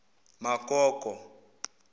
magogo